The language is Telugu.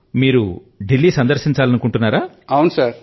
మరి మీరు దిల్లీ ని సందర్శించాలనుకుంటున్నారా